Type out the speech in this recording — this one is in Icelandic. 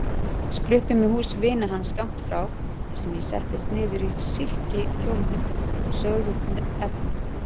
Við skruppum í hús vina hans skammt frá þar sem ég settist niður í silkikjólnum og saug upp efnið.